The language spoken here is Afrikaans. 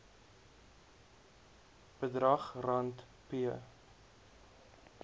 bedrag rand p